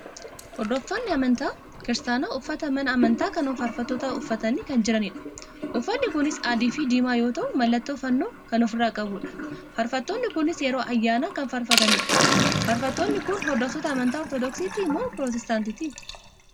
Hordoftoonni Amantaa Kiristaana uffata mana amantaa kan faarfattootaa uffatanii kan jiranidha. Uffanni kunis adii fi diimaa yoo ta'u mallattoo fannoo kan ofirra qabudha. Faarfattoonni kunis yeroo ayyaana kan faarfatanidha. Faarfattoonni kun hordoftoota amantaa Ortoodoksiiti moo Pirotestaantiiti?